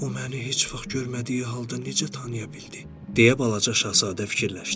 O məni heç vaxt görmədiyi halda necə tanıya bildi, deyə balaca Şahzadə fikirləşdi.